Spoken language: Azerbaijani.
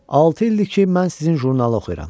Altı ildir ki, mən sizin jurnalı oxuyuram.